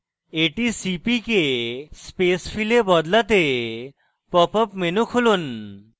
এটি cpk space fill এ বদলাতে pop up menu খুলুন